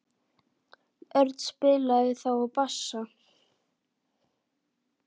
Örn spilaði þá á bassa.